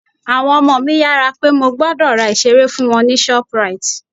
Àwọn ọmọ mi yára pé mo gbọ́dọ̀ ra ìseré fún àwọn ní ShopRite